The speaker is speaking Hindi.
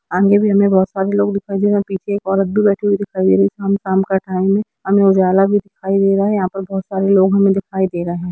अंदर भी हमे बहुत सारे लोग दिखाई दे रहे है पीछे एक औरत भी बैठी हुई दिखाई दे रही है शाम-शाम का टाइम है हमें उजाला भी दिखाई दे रहा है यहाँ पर बहुत सारे लोग हमे दिखाई दे रहे है।